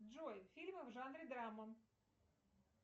джой фильмы в жанре драма